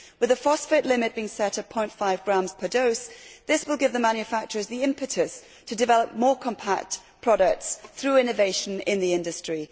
With a phosphate limit being set at 0.5 grams per dose, this will give the manufacturers the impetus to develop more compact products through innovation in the industry.